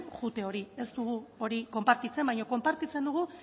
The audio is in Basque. joate hori ez dugu hori konpartitzen baina konpartitzen dugu